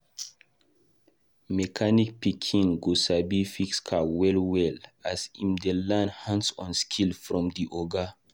Mechanic pikin go sabi fix car well well as em dey learn hands-on skills from e oga